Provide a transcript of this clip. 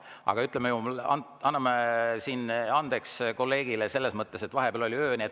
Aga anname andeks kolleegile selles mõttes, et vahepeal oli öö.